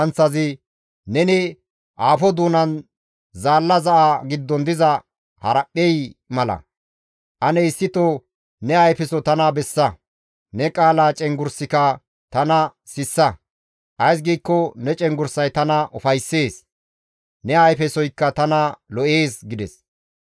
«Neni aafo doonan zaalla za7a giddon diza haraphphey mala; ane issito ne ayfeso tana bessa; ne qaala cenggurssikka tana sissa. Ays giikko ne cenggurssay tana ufayssees; ne ayfesoykka tana lo7ees» gides.